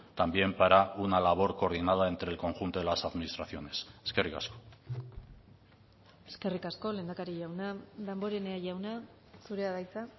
también para una labor coordinada entre el conjunto de las administraciones eskerrik asko eskerrik asko lehendakari jauna damborenea jauna zurea da hitza